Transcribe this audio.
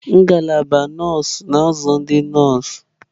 Ngalaba nọọsụ na-azụ ndị nọọsụ.